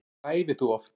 Hvað æfir þú oft?